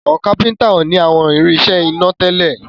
Àwọn kápẹ́ńtà o ní àwọn irinṣẹ́ iná tèlé.